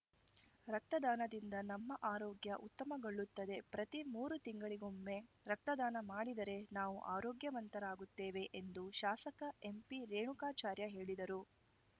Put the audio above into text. ರಕ್ತದಾನದಿಂದ ನಮ್ಮ ಆರೋಗ್ಯ ಉತ್ತಮಗೊಳ್ಳುತ್ತದೆ ಪ್ರತಿ ಮೂರು ತಿಂಗಳಿಗೊಮ್ಮೆ ರಕ್ತದಾನ ಮಾಡಿದರೆ ನಾವು ಆರೋಗ್ಯವಂತರಾಗುತ್ತೇವೆ ಎಂದು ಶಾಸಕ ಎಂಪಿರೇಣುಕಾಚಾರ್ಯ ಹೇಳಿದರು